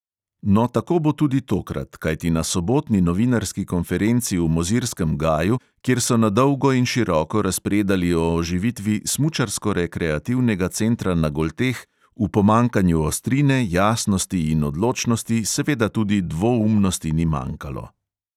No, tako bo tudi tokrat, kajti na sobotni novinarski konferenci v mozirskem gaju, kjer so na dolgo in široko razpredali o oživitvi smučarsko-rekreativnega centra na golteh, v pomanjkanju ostrine, jasnosti in odločnosti seveda tudi dvoumnosti ni manjkalo.